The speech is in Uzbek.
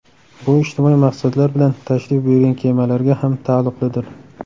Bu ijtimoiy maqsadlar bilan tashrif buyurgan kemalarga ham taalluqlidir.